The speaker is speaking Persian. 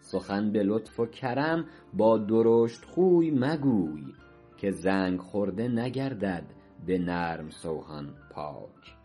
سخن به لطف و کرم با درشتخوی مگوی که زنگ خورده نگردد به نرم سوهان پاک